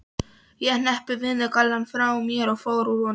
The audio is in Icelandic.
Ég hneppti vinnugallanum frá mér og fór úr honum.